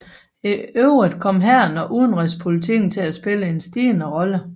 I øvrigt kom hæren og udenrigspolitikken til at spille en stigende rolle